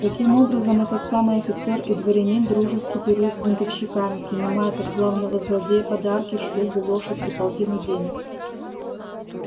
каким образом этот самый офицер и дворянин дружески пирует с бунтовщиками принимает от главного злодея подарки шубу лошадь и полтину денег